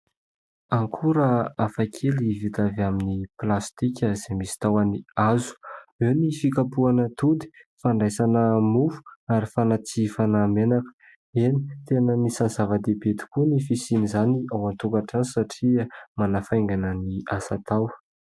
Akora hafakely vita avy amin'ny plastika izay misy tahony hazo. Eo ny fikapohana atody, fandraisana mofo ary fanatsihifana menaka. Eny ! tena anisan'ny zava-dehibe tokoa ny fisian' izany ao an-tokatrano satria manafaingana ny asa atao.